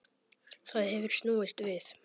Það hefur snúist við.